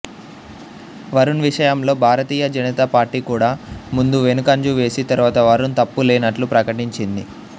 వరుణ్ విషయంలో భారతీయ జనతా పార్టీ కూడా ముందు వెనుకంజ వేసి తర్వాత వరుణ్ తప్పు లేనట్లు ప్రకటించింది